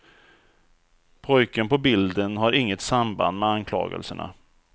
Pojken på bilden har inget samband med anklagelserna.